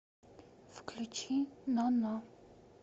включи ноно